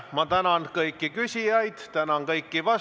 Ma tänan kõiki küsijaid, tänan kõiki vastajaid.